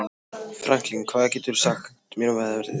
Franklin, hvað geturðu sagt mér um veðrið?